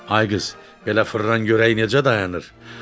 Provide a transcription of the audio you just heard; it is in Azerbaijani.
Ay qız, elə fırlan görək necə dayanır.